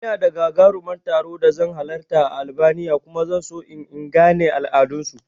Ina da gagaruman taro da zan halarta a Albania kuma zan so in in gane al'adan su